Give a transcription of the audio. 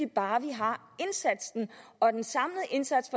bare vi har indsatsen og den samlede indsats